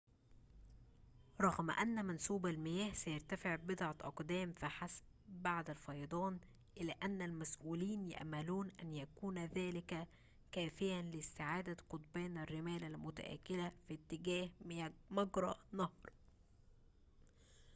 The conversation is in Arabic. رغم أن منسوب المياه سيرتفع بضعة أقدام فحسب بعد الفيضان إلا أن المسؤولين يأملون أن يكون ذلك كافياً لاستعادة قضبان الرمال المتآكلة في اتجاه مجرى النهر